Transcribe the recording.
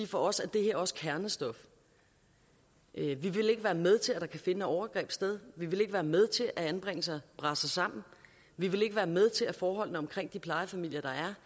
for os er det her også kernestof vi vil ikke være med til at der kan finde overgreb sted vi vil ikke være med til at anbringelser braser sammen vi vil ikke være med til at forholdene omkring de plejefamilier